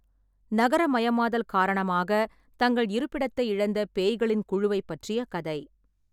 நகரமயமாதல் காரணமாக தங்கள் இருப்பிடத்தை இழந்த பேய்களின் குழுவைப் பற்றிய கதை.